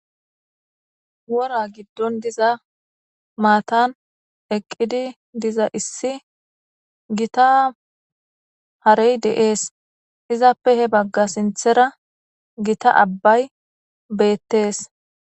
Wora giddon diza maatan eqqidi diza issi gita harey deees izappe he bagga sinthera gita abbay beettees